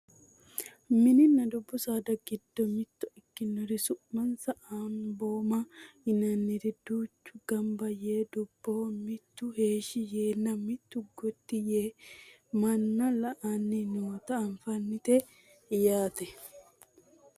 mininna dubbu saada giddo mitto ikkinori su'mansa anbooma yinanniri duuchu ganba yee dubboho mitu heeshshi yeenna mitu gotti yee manna la"anni noota anfannite yaate